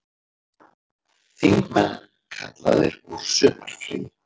Þingmenn kallaðir úr sumarfríi